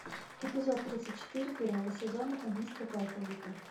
эпизод тридцать четыре первого сезона убийство по алфавиту